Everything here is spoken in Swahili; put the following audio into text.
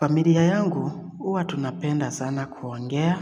Familia yangu huwa tunapenda sana kuongea,